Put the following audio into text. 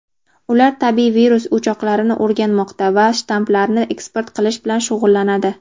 Ular tabiiy virus o‘choqlarini o‘rganmoqda va shtammlarni eksport qilish bilan shug‘ullanadi.